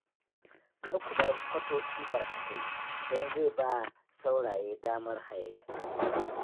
Kar ku bar kwatoci barkatai don zai ba wa sauraye damar hayayyafa